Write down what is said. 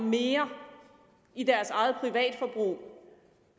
mere til eget privatforbrug